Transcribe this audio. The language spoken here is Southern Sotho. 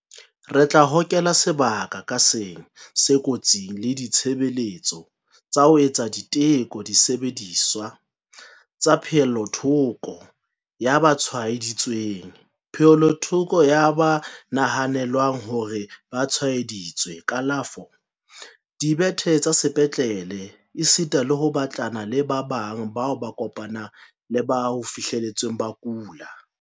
Re tla hokela sebaka ka seng se kotsing le ditshebeletso tsa ho etsa diteko, disebediswa tsa pehellothoko ya ba tshwae-ditsweng, pehellothoko ya ba nahanelwang hore ba tshwae-ditswe, kalafo, dibethe tsa sepetlele esita le ho batlana le ba bang bao ba kopaneng le ba ho fihletsweng ba kula.